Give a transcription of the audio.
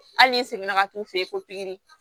Hali n'i seginna ka taa u fɛ yen ko pikiri